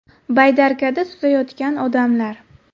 Baydarkada suzayotgan odamlar.